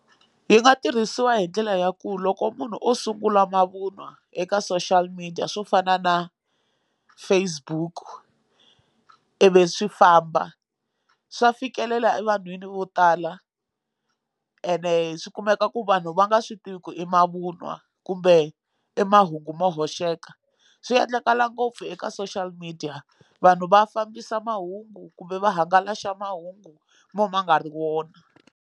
Yi nga tirhisiwa hi ndlela ya ku loko munhu o sungula mavun'wa eka social media swo fana na Facebook i vi swi famba swa fikelela evanhwini vo tala ene swi kumeka ku vanhu va nga swi tivi ku i mavun'wa kumbe i mahungu mo hoxeka swi endlakala ngopfu eka social media vanhu va fambisa mahungu kumbe va hangalasa mahungu mo ma nga ri wona.